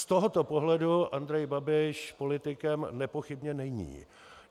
Z tohoto pohledu Andrej Babiš politikem nepochybně není.